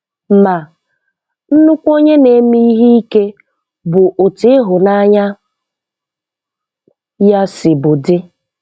MA, nnukwu onye na-eme ihe ike bụ otú ịhụnanya ya si bụ dị.